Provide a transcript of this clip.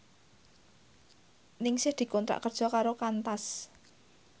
Ningsih dikontrak kerja karo Qantas